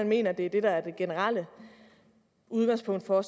mener at det er det der er det generelle udgangspunkt for